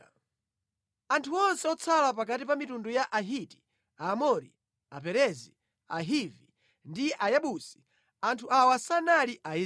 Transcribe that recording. Panali anthu amene anatsala pakati pa mitundu ya Ahiti, Aamori, Aperezi, Ahivi ndi Ayebusi (anthu awa sanali Aisraeli).